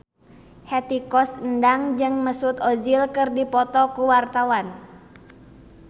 Hetty Koes Endang jeung Mesut Ozil keur dipoto ku wartawan